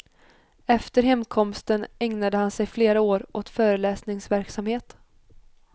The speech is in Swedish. Efter hemkomsten ägnade han sig flera år åt föreläsningsverksamhet.